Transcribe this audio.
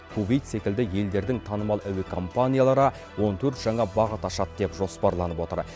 кувейт секілді елдердің танымал әуе компаниялары он төрт жаңа бағыт ашады деп жоспарланып отыр